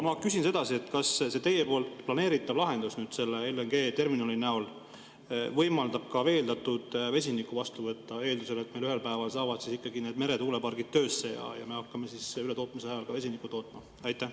Ma küsin edasi, kas see teie planeeritav lahendus LNG-terminali näol võimaldab ka veeldatud vesinikku vastu võtta, eeldusel, et meil ühel päeval saavad ikkagi need meretuulepargid töösse ja me hakkame ületootmise ajal ka vesinikku tootma?